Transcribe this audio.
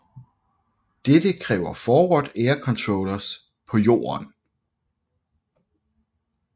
Dette kræver Forward air controllers på jorden